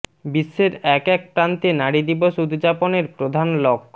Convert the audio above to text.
বিশ্বের এক এক প্রান্তে নারী দিবস উদযাপনের প্রধান লক্